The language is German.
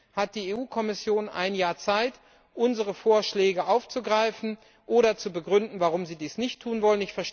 Jetzt hat die Kommission ein Jahr Zeit, unsere Vorschläge aufzugreifen oder zu begründen, warum sie dies nicht tun will.